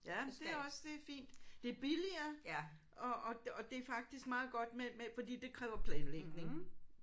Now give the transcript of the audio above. Ja det er også det er fint. Det er billigere og og det og det er faktisk meget godt med med fordi det kræver planlægning